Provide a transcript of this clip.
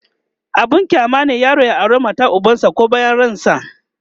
abun kyama ne yaro ya aure matar ubansa koh bayan ransa